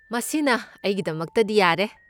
ꯃꯁꯤꯅ ꯑꯩꯒꯤꯗꯃꯛꯇꯗꯤ ꯌꯥꯔꯦ꯫